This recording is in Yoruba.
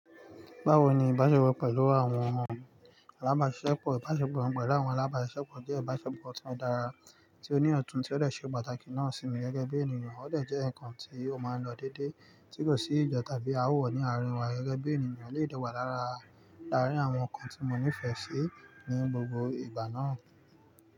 Bawo ni ìbáṣepọ̀ pẹlu àwọn omo alábáṣepọ̀? Ìbáṣepọ̀ pẹlu àwọn alábáṣepọ̀ jẹ́ ìbáṣepọ̀ ti o dara, tí ó ní ọ̀tún tí ó de se pàtàkì náà sí mi gẹ́gẹ́ bí ènìyàn. Ó de jẹ́ ǹkan tí ó máa ń lọ déédéé tí kò sí ìja tàbí ááwọ̀ ní àárín wa gẹ́gẹ́ bí ènìyàn lè dewà lára àárín àwọn nǹkan tí mo nífẹ̀ẹ́ sí ní gbogbo ìgbà náà.